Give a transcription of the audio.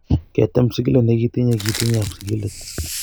Ketem sigilet ne kitinye kitinye ab sigilet.